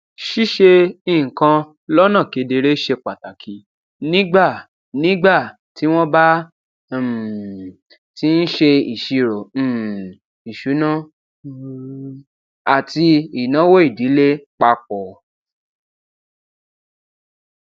ṣíṣe nǹkan lọnà kedere ṣe pàtàkì nígbà nígbà tí wọn bá um ti ń ṣe ìṣírò um ìṣúná àti ìnáwó ìdílé papọ